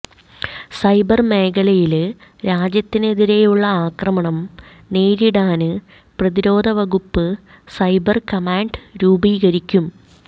cyber മേഖലയില് രാജ്യത്തിനെതിരെയുള്ള ആക്രമണം നേരിടാന് പ്രതിരോധവകുപ്പ് സൈബര് കമാന്ഡ് രൂപീകരിക്കും